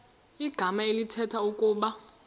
igama elithetha ukuba